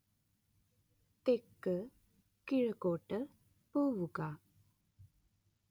തെക്കുകിഴക്കോട്ട് പോവുക